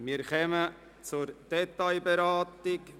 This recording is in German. Wir kommen zur Detailberatung.